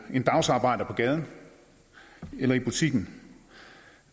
en dagsarbejder på gaden eller i butikken